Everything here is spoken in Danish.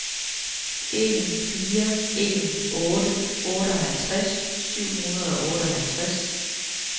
en fire en otte otteoghalvtreds syv hundrede og otteoghalvtreds